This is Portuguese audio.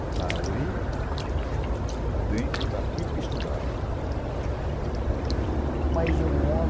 Está ali dentro daquilo que estudaram. Mas um homem